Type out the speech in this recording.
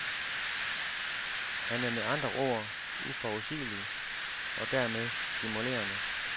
Han er med andre ord uforudsigelig og dermed stimulerende.